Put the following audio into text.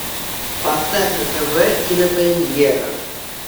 поставь на тв кинопремьера